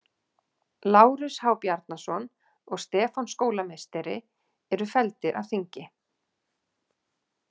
Lárus H Bjarnason og Stefán skólameistari eru felldir af þingi.